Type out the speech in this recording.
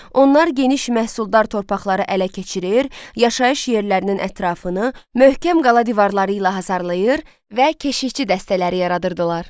Onlar geniş məhsuldar torpaqları ələ keçirir, yaşayış yerlərinin ətrafını möhkəm qala divarları ilə hasarlayır və keşikçi dəstələri yaradırdılar.